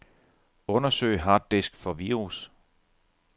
Undersøg harddisk for virus.